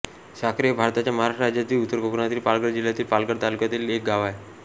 साखरे हे भारताच्या महाराष्ट्र राज्यातील उत्तर कोकणातील पालघर जिल्ह्यातील पालघर तालुक्यातील एक गाव आहे